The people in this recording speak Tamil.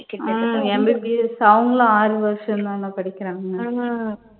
உம் MBBS அவங்களும் ஆறு வருஷம் தான படிக்கிறாங்க.